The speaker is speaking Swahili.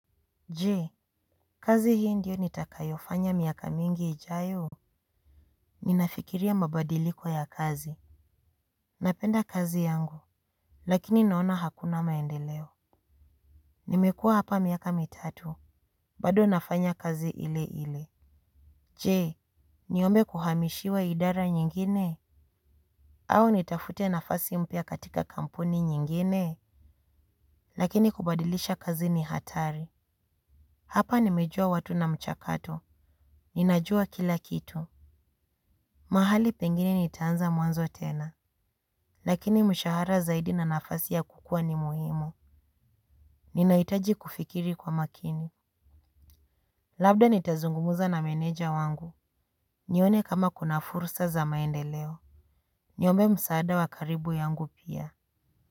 Je, kazi hii ndiyo nitakayo fanya miaka mingi ijayo. Ninafikiria mabadiliko ya kazi. Napenda kazi yangu, lakini naona hakuna maendeleo. Nimekua hapa miaka mitatu, bado nafanya kazi ile ile. Je, niombe kuhamishiwa idara nyingine. Au nitafute nafasi mpya katika kampuni nyingine. Lakini kubadilisha kazi ni hatari. Hapa nimejua watu na mchakato. Ninajua kila kitu. Mahali pengine nitaanza mwanzo tena. Lakini mshahara zaidi na nafasi ya kukua ni muhimu. Ninahitaji kufikiri kwa makini. Labda nitazungumuza na meneja wangu. Nione kama kuna fursa za maendeleo. Niombe msaada wa karibu yangu pia.